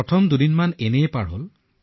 প্ৰথম দুইতিনিদিন এনেকৈয়ে পাৰ হল